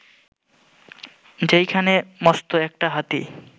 সেইখানে মস্ত একটা হাতি